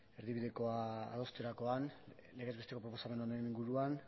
erdibidekoa adosterakoan legez bestekoaren inguruan